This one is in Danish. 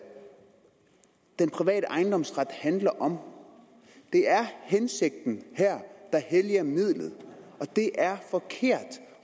den private ejendomsret handler om det er her hensigten der helliger midlet og det er forkert